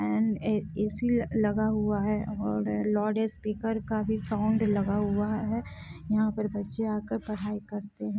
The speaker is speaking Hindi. एण्ड ऐ.सी लगा हुआ है और लाउड स्पीकर का भी साउन्ड लगा हुआ है यहाँ पर बच्चे आकर पढ़ाई करते है।